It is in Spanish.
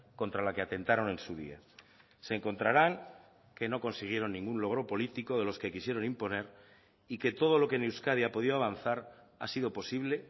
contra la que atentaron en su día se encontrarán que no consiguieron ningún logro político de los que quisieron imponer y que todo lo que en euskadi ha podido avanzar ha sido posible